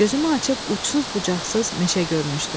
Gözümü açıb ucsuz-bucaqsız meşə görmüşdüm.